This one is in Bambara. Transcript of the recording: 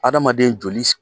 Adamaden joli s